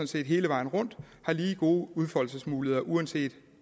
set hele vejen rundt har lige gode udfoldelsesmuligheder uanset